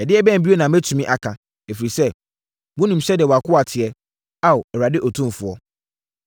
“Ɛdeɛbɛn bio na mɛtumi aka? Ɛfiri sɛ, wonim sɛdeɛ wʼakoa teɛ, Ao Awurade Otumfoɔ.